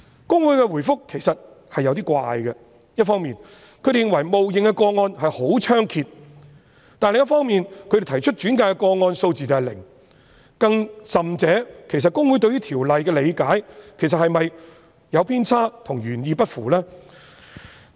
公會的答覆其實有點奇怪，一方面認為冒認的個案十分猖獗，但另一方面，轉介的個案數字是零，更甚者，其實公會對於《條例》的理解是否有偏差，與原意不符？